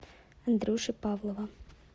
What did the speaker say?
андрюши павлова